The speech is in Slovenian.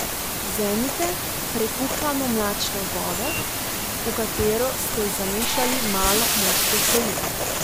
Vzemite prekuhano, mlačno vodo, v katero ste zamešali malo morske soli.